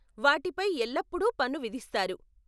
వాటిపై ఎల్లప్పుడూ పన్ను విధిస్తారు.